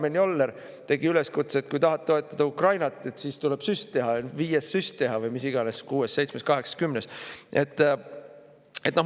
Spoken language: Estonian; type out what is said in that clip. Karmen Joller tegi üleskutse, et kui tahad toetada Ukrainat, siis tuleb süst teha: viies süst teha või mis iganes, kuues, seitsmes, kaheksas, kümnes.